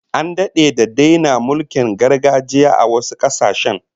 An dade da daina mulkin gargajiya a wasu kasashen